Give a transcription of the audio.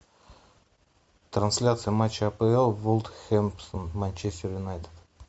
трансляция матча апл вулверхэмптон манчестер юнайтед